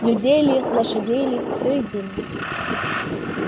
людей ли лошадей ли всё едино